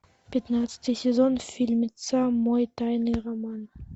пятнадцатый сезон фильмеца мой тайный роман